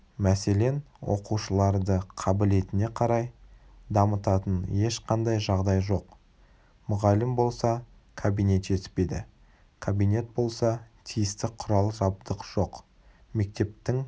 мәселен оқушыларды қабілетіне қарай дамытатын ешқандай жағдай жоқ мұғалім болса кабинет жетіспейді кабинет болса тиісті құрал-жабдық жоқ мектептің